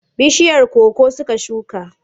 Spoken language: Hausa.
Bishiyar koko suka shuka.